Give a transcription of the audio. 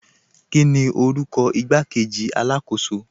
Kíni orúkọ ìgbàkọ̀wé alákọ̀sò?